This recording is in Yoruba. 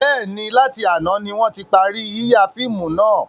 Bẹ́ẹ̀ni, láti àná ni wọn ti parí yíya fíìmù náà.